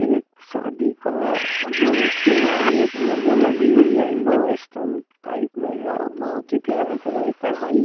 एक शादी का जो शेरवानी होती हें वो लगी हुई इंडो वेस्टर्न टाइप में हें और बोहोत ही प्यारा कलर हें कढ़ाई--